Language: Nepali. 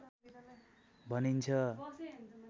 भनिन्छ